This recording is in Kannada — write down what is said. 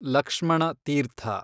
ಲಕ್ಷ್ಮಣ ತೀರ್ಥ